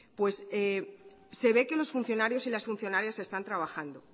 se ve que los funcionarios y las funcionarias están trabajando